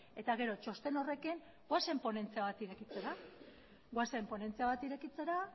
eta gero txosten horrekin goazen ponentzia bat irekitzera goazen ponentzia bat irekitzera